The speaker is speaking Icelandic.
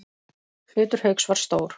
Hlutur Hauks var stór.